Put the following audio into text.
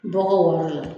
Bɔgɔ wɔɔrɔ la